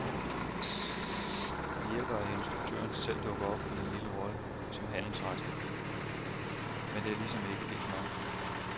Det hjælper, at instruktøren selv dukker op i en lille rolle som handelsrejsende, men det er ligesom ikke helt nok.